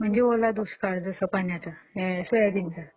म्हणजे ओला दुष्काळ जसा पाण्याचा, सोयाबीनचा!